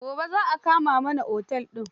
Gobe zan kama mana otel din.